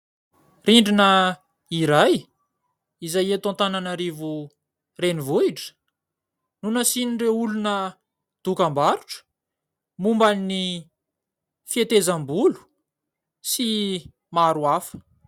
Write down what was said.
Rindrina iray izay eto Antananarivo renivohitra no nasian'ireo olona dokam-barotra momba ny fihetezam-bolo sy maro hafa.